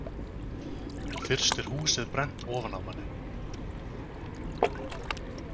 Fyrst er húsið brennt ofan af manni.